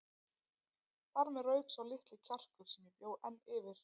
Þar með rauk sá litli kjarkur sem ég bjó enn yfir.